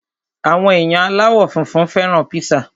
Àwọn èèyàn aláwọ̀ funfun fẹ́ràn píṣà